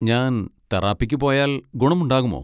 ഞാൻ തെറാപ്പിക്ക് പോയാൽ ഗുണമുണ്ടാകുമോ?